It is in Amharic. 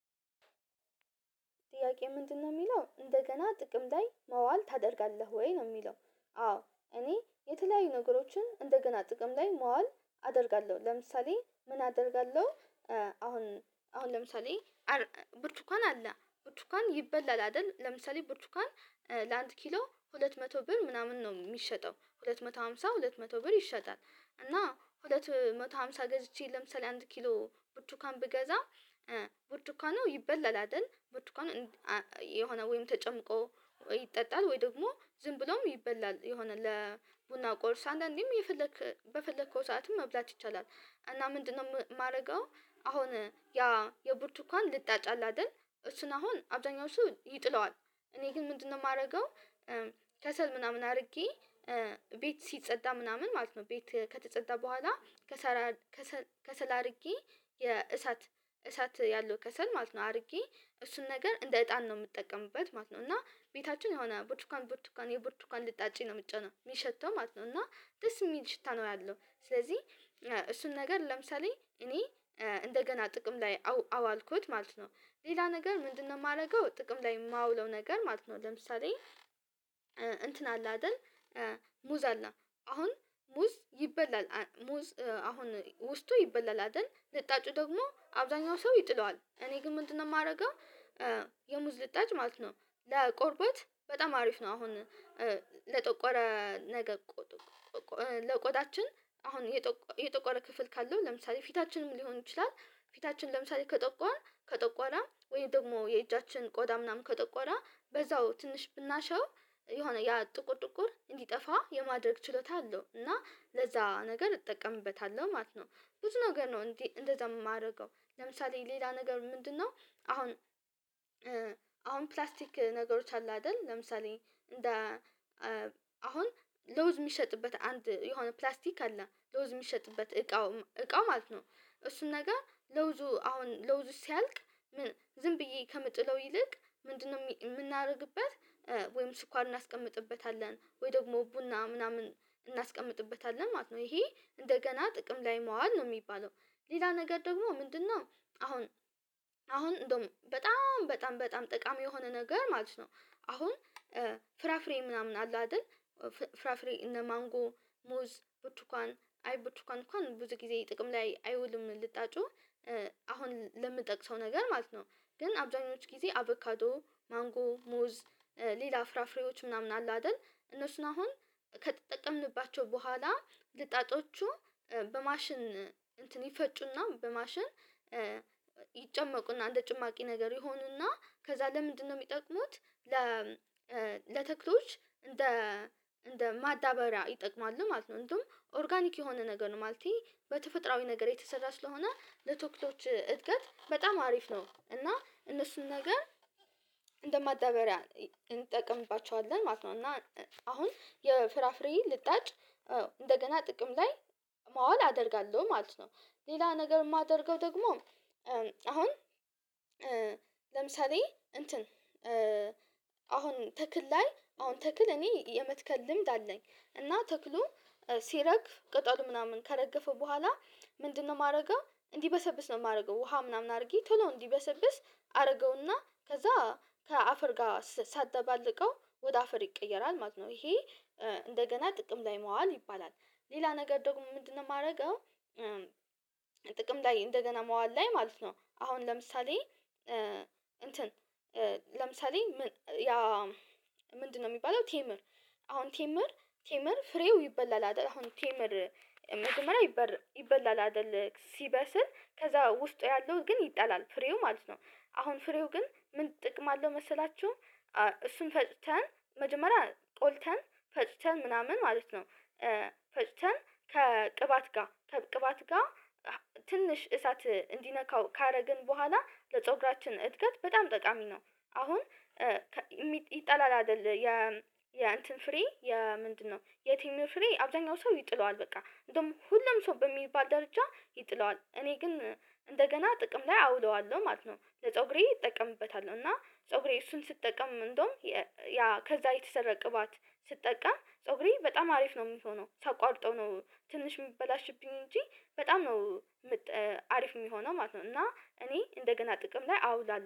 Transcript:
ጥያቄው ምንድነው የሚለው እንደገና ጥቅም ላይ መዋል ታደርጋለህ ወይ ነው የሚለው? አዎ እኔ የተለያዩ ነገሮችን እንደገና ጥቅም ላይ መዋል አደርጋለሁ ለምሳሌ ምን አደርጋለሁ። አሁን አሁን ለምሳሌ ብርቱካን አለ ብርቱካን ይበላል አይደል ለምሳሌ ብርቱካን ለአንድ ኪሎ ሁለት መቶ ብር ምናምን ነው የሚሸጠው ሁለት መቶ ሃምሳ ሁለት መቶ ብር ይሸጣል። እና ሁለት መቶ ሃምሳ ገዝቼ ለምሳሌ አንድ ኪሎ ቡርቱካን ብገዛ ቡርቱካ ነው ይበላል አይደል ብርቱን የሆነ ወይም ተጨምቆ ይጠጣል ወይ ደግሞ ዝም ብለውም ይበላል የሆነ ለቡና ቁርስ አንዳንዴም በፈለከው ሰዓትም መብላት ይቻላል። እና ምንድነው የማደርገው አሁን ያ የብርቱካን ልጣጫላት አይደል እሱን አሁን አብዛኛው ሰው ይጥለዋል እኔ ግን ምንድነው የማደርገው? ከሰል ምናምን አድርጌ ቤት ሲጸጣ ምናምን ማለት ነው። ቤት ከተጸዳ በኋላ ከሰል ከሰል አድርጌ የእሳት እሳት ያለው ከሰል ማለት ነው አድርጌ እሱን ነገር እንደ እጣን ነው የምጠቀምበት ማለት ነው። እና ቤታችን የሆነ ብርቱካን ብርቱካን የቡትኳን ልጣጭ ነው የሚጨሰው የሚሸተው ማለት ነው። እና ደስ የሚል ሽታ ነው ያለው ስለዚህ እሱን ነገር ለምሳሌ እኔ እንደገና ጥቅም ላይ አዋልኩት ማለት ነው። ሌላ ነገር ምንድነው የማደርገው ጥቅም ላይ የማውለው ነገር ማለት ነው። ለምሳሌ እንትን አለ አይደል ሙዝ አለ አሁን ሙዝ ይበላል ሙዝ አሁን ውስጡ ይበላል አይደል ለጣጩ ደግሞ አብዛኛው ሰው ይጥለዋል እኔ ግን ምንድነው የማደርገው? የሙዝ ልጣጭ ማለት ነው ለቆርቦት በጣም አሪፍ ነው። አሁን ለጠቆረ ነገር ለቆዳችን አሁን የጠቆረ ክፍል ካለው ለምሳሌ ፊታችንም ሊሆን ይችላል ፊታችን ለምሳሌ ከጠቆራ ከጠቆራ ወይም ደግሞ የእጃችን ቆጣ ምናምን ከጠቆረ በዛው ትንሽ ብናሸው የሆነ ያ ጥቁር ጥቁር እንዲጠፋ የማድረግ ችሎታ አለው። እና ለዛ ነገር እጠቀምበታለሁ ማለት ነው ብዙ ነገር ነው እንዴ እንደዛ የማደርገው ለምሳሌ ሌላ ነገር ምንድነው? አሁን አሁን ፕላስቲክ ነገሮች አሉ አይደል ለምሳሌ እንደ አሁን ለውዝ የሚሸጥበት አንድ የሆነ ፕላስቲክ አለ ለውዝ የሚሸጥበት እቃው እቃው ማለት ነው እሱን ነገር ለውዙ አሁን ለውዙ ሲያልቅ ዝም ብዬ ከምጥለው ይልቅ ምንድነው የምናደርግበት ወይም ስኳር እናስቀምጥበታለን ወይ ደግሞ ቡና ምናምን እናስቀምጥበታለን ማለት ነው። ይሄ እንደገና ጥቅም ላይ መዋል ነው የሚባለው ሌላ ነገር ደግሞ ምንድነው? አሁን አሁን እንደውም በጣም በጣም ጠቃሚ የሆነ ነገር ማለት ነው። አሁን ፍራፍሬ ምናምን አለ አይደል ፍራፍሬ እነ ማንጎ ሞዝ ቡቱኳን አይ ቡቱኳን እንኳን ብዙጊዜ ጥቅም ላይ አይውልም ልጣጩ ለምንጠቅሰው ነገር ማለት ነው። ግን አብዛኞቹ ጊዜ አቦካዶ ማንጎ ሙዝ ሌላ ፍራፍሬዎች ምናምን አለ አይደል እነሱን አሁን ከተጠቀምንባቸው በኋላ ልጣጮቹ በማሽን እንፍቅና በማሽን ይጨመቁና እንደ ጭማቂ ነገር ይሆኑና ከዛ ለምንድነው የሚጠቅሙት? ለተክሎች እንደ እንደ ማዳበሪያ ይጠቅማሉ ማለት ነው እንደውም ኦርጋኒክ የሆነ ነገር ነው ማለቴ በተፈጥሮአዊ ነገር የተሰራ ስለሆነ ለተክሎች እድገት በጣም አሪፍ ነው። እና እነሱን ነገር እንደማዳበሪያ እንጠቀምባቸዋለን ማለት ነው እና አሁን የፍራፍሬ ልጣጭ እንደገና ጥቅም ላይ ማዋል አደርጋለሁ ማለት ነው። ሌላ ነገር የማደርገው ደግሞ አሁን ለምሳሌ እንትን አሁን ተክል ላይ አሁን ተክል እኔ የመትከል ልምድ አለኝ እና ተክሉ ሲረግፍ ቀጠሉ ምናምን ከረገፈ በኋላ ምንድነው የማደርገው እንዲበሰብስ ነው የማደርገው ውሃ ምናምን አድርጌ ቶሎ እንዲበሰብስ አደርገውና ከዛ ከአፈር ጋር ሳደባለቀው ወደ አፈር ይቀየራል ማለት ነው። ይሄ እንደገና ጥቅም ላይ መዋል ይባላል። ሌላ ነገር ደግሞ ምንድነው የማደርገው? ጥቅም ላይ እንደገና መዋል ላይ ማለት ነው። አሁን ለምሳሌ እንትን ለምሳሌ ምንድነው የሚባለው? ቴምር አሁን ቴምር ቴምር ፍሬው ይበላል አይደል ቴምር መጀመሪያ ይበላል አይደል ሲበስል ከዛ ውስጡ ያለው ግን ይጣላል ፍሬው ማለት ነው። አሁን ፍሬው ግን ምን ጥቅም አለው መሰላችሁ? እሱን ፈጭተን መጀመሪያ ቆልተን ፈጭተን ምናምን ማለት ነው ፈጭተን ከቅባት ጋር ቅባት ጋር ትንሽ እሳት እንዲነካው ካደረግን በኋላ ለፀጉራችን እድገት በጣም ጠቃሚ ነው። አሁን ይጠላል አይደለ የ የእንትን ፍሬ የ ምንድነው የቴምር ፍሬ አብዛኛው ሰው ይጥለዋል በቃ እንደውም ሁሉም ሰው በሚባል ደረጃ ይጥለዋል እኔ ግን እንደገና ጥቅም ላይ አውለዋለሁ ማለት ነው። ለፀጉሬ እጠቀምበታል እና ፀጉሬ እሱን ሲጠቀም እንደውም ያ ከዛ የተሰራ ቅባት ስጠቀም ፀጉሬ በጣም አሪፍ ነው የሚሆነው ተቋርጦ ነው ትንሽ የሚበላሽብኝ እንጂ በጣም ነው አሪፍ የሚሆነው ማለት ነው። እና እኔ እንደገና ጥቅም ላይ አውላለው